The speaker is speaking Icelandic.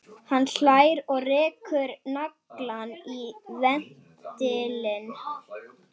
Hann hlær og rekur naglann í ventilinn.